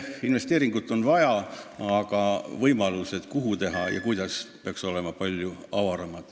Investeeringut on vaja, aga kuhu teha ja kuidas – need võimalused peaks olema palju avaramad.